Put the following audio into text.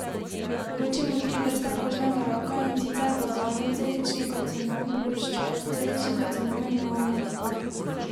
Ločimo tri vrste kožnega raka, in sicer bazalnocelični karcinom, ploščatocelični karcinom in melanom.